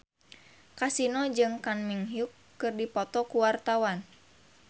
Kasino jeung Kang Min Hyuk keur dipoto ku wartawan